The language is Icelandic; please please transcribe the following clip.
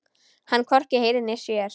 Hann hvorki heyrir né sér.